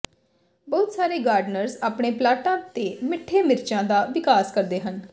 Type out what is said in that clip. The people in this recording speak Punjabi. ਬਹੁਤ ਸਾਰੇ ਗਾਰਡਨਰਜ਼ ਆਪਣੇ ਪਲਾਟਾਂ ਤੇ ਮਿੱਠੇ ਮਿਰਚਾਂ ਦਾ ਵਿਕਾਸ ਕਰਦੇ ਹਨ